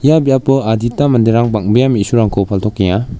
ia biapo adita manderang bang·bea me·surangko paltokenga.